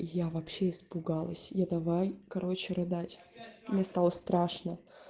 я вообще испугалась я давай короче рыдать мне стало страшно